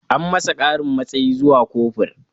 An masa ƙarin matsayi zuwa kofur